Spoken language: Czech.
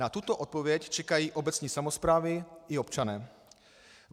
Na tuto odpověď čekají obecní samosprávy i občané.